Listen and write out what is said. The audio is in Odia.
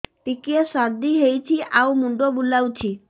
ଟିକିଏ ସର୍ଦ୍ଦି ହେଇଚି ଆଉ ମୁଣ୍ଡ ବୁଲାଉଛି